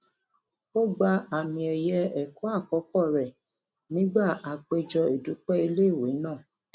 ó gba àmì ẹyẹ ẹkọ àkọkọ rẹ nígbà àpéjọ ìdúpẹ ilé ìwé náà